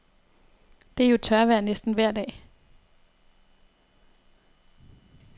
Det er jo tørvejr næsten vejr dag.